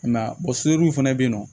I m'a ye sodenw fɛnɛ be yen nɔ